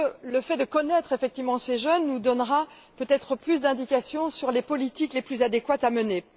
Le fait de connaître effectivement ces jeunes nous donnera peut être plus d'indications sur les politiques les plus adéquates à mener.